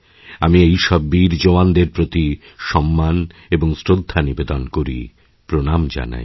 আমি এই সব বীরজওয়ানদের প্রতি সম্মান এবং শ্রদ্ধা নিবেদন করি প্রণাম জানাই